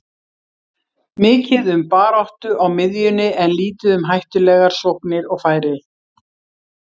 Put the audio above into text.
Mikið um baráttu á miðjunni en lítið um hættulegar sóknir og færi.